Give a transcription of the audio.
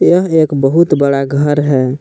यह एक बहुत बड़ा घर है।